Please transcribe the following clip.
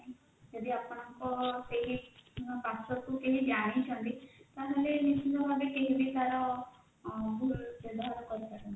ଯଦି ଆପଣଙ୍କର ସେଇ password କୁ କେହି ଜାଣିଛନ୍ତି ତାହେଲେ ନିଶ୍ଚିନ୍ତ ଭାବେ କେହି ବି ତାର ଆଁ ଭୁଲ ବ୍ୟବହାର କରିପାରନ୍ତି